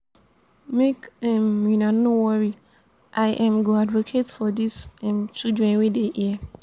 make um una no worry i um go advocate for dis um children wey dey here